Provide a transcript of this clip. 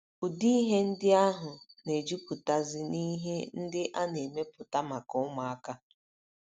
Ụdị ihe ndị ahụ na - ejupụtazi n’ihe ndị a na - emepụta maka ụmụaka.